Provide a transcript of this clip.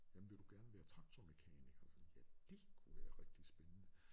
Jamen vil du gerne være traktormekaniker ja det kunne være rigtig spændende